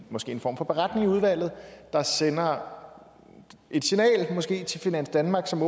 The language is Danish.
måske en form for beretning i udvalget der sender et signal måske til finans danmark som